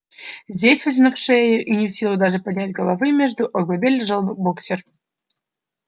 здесь вытянув шею и не в силах даже поднять головы между оглобель лежал боксёр